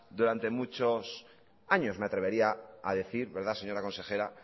durante muchos años me atrevería a decir verdad señora consejera